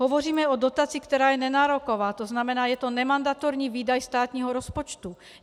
Hovoříme o dotaci, která je nenároková, to znamená, je to nemandatorní výdaj státního rozpočtu.